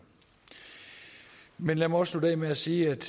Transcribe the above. men lad mig også slutte af med at sige at